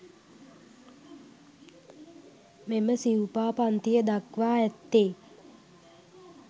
මෙම සිවුපා පංතිය දක්වා ඇත්තේ